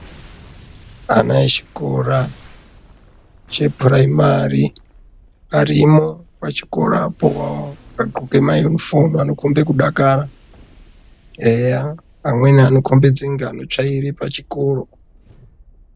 Ana echikora chepuraimari arimo pachikoro apo akadxoke mayunifomu anokombe kudakara. Eya, amweni anokombidze kunge anotsvaire pachikoro.